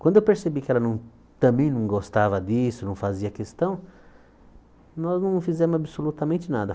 Quando eu percebi que ela não também não gostava disso, não fazia questão, nós não fizemos absolutamente nada.